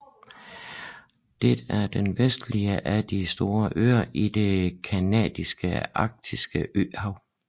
Det er den vestligste af de store øer i det canadiske arktiske øhav